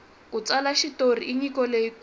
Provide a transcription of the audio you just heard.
ku tsala xitori i nyiko leyi kulu